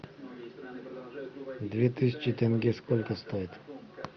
две тысячи тенге сколько стоят